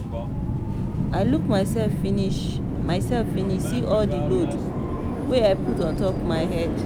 i look mysef finish mysef finish see all di load wey i put ontop my head.